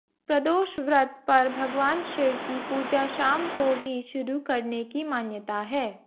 प्रदोष व्रत पर भगवान शिव की पूजा शाम को ही शुरू करने की मान्यता है